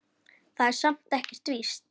Það er samt ekkert víst.